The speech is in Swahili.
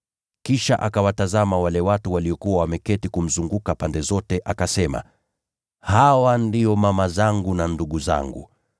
Kisha akawatazama wale watu waliokuwa wameketi kumzunguka pande zote, akasema, “Hawa ndio mama yangu na ndugu zangu.